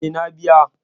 Eh, na biya.